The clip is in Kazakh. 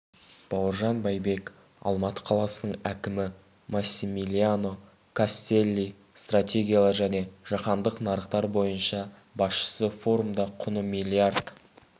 бауыржан байбек алматы қаласының әкімі массимилиано кастелли стратегиялар және жаһандық нарықтар бойынша басшысы форумда құны миллиард